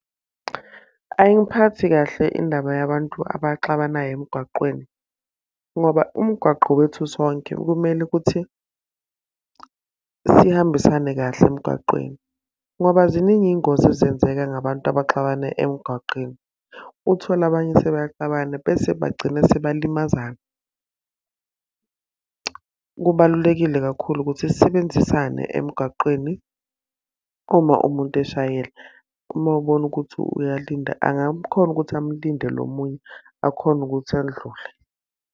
Ayingiphathi kahle indaba yabantu abaxabanayo emgaqweni. Ngoba umgwaqo owethu sonke kumele ukuthi sihambisane kahle emgaqweni. Ngoba ziningi iy'ngozi ezenzeka ngabantu abaxabana emgaqeni. Uthole abanye sebeyaxabana bese bagcine sebalimaza. Kubalulekile kakhulu ukuthi sisebenzisane emgaqweni uma umuntu eshayela. Uma ubona ukuthi uyalinda angamkhona ukuthi amlinde lo munye akhone ukuthi andlule.